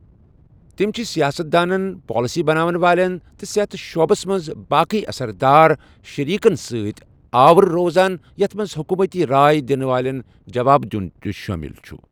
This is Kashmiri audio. تِم چھِ سیاست دانن، پالسی بناون والٮ۪ن، تہٕ صحت شعبس منٛز باقٕے اثر دار شیٚریٖکن سۭتۍ آوٕر روزان یتھ منٛز حکوٗمتی راے دِنہٕ والٮ۪ن جواب دِیُن تہِ شٲمِل چھُ۔